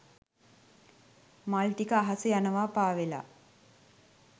මල් ටික අහසේ යනවා පාවෙලා.